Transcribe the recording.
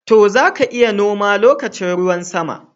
To, za ka iya noma lokacin ruwan sama.